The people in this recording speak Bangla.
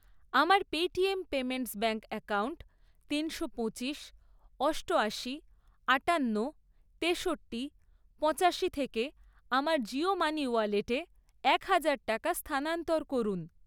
আমার পেটিএম পেমেন্টস ব্যাঙ্ক অ্যাকাউন্ট তিনশো পঁচিশ, অষ্টয়াশি, আটান্ন, তেষট্টি, পঁচাশি থেকে আমার জিও মানি ওয়ালেটে এক হাজার টাকা স্থানান্তর করুন।